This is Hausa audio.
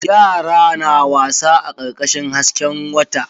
Yara na wasa a karkashin hasken wata.